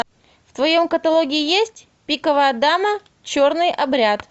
в твоем каталоге есть пиковая дама черный обряд